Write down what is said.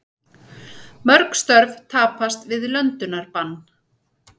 Mörg störf tapast við löndunarbann